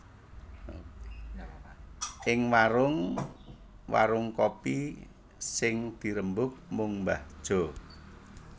Ing warung warung kopi sing dirembug mung mbah Jo